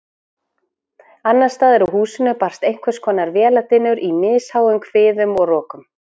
Annarsstaðar úr húsinu barst einhverskonar véladynur í misháum hviðum og rokum.